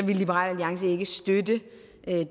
liberal alliance ikke støtte